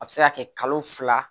A bɛ se ka kɛ kalo fila